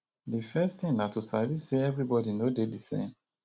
the first thing na to sabi sey everybody no dey di same